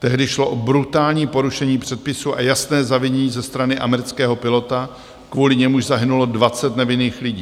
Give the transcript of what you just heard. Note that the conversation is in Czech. Tehdy šlo o brutální porušení předpisů a jasné zavinění ze strany amerického pilota, kvůli němuž zahynulo 20 nevinných lidí.